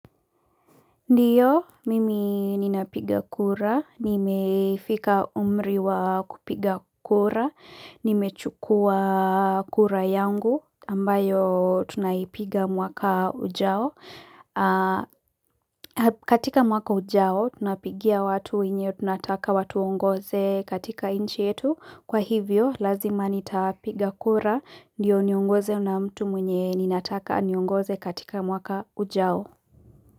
Ndiyo, mimi ninapiga kura, nimefika umriwa kupiga kura, nimechukua kura yangu, ambayo tunaipiga mwaka ujao katika mwaka ujao, tunapigia watu wenye, tunataka watu ongoze katika inchi yetu Kwa hivyo, lazima nitapiga kura, ndiyo niongozwe na mtu mwenye ninataka aniongoze katika mwaka ujao.